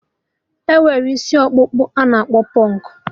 Enwere isi ọkpụkpụ a na-akpọ pụnk